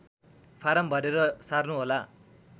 form भरेर सार्नुहोला